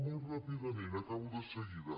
molt ràpidament acabo de seguida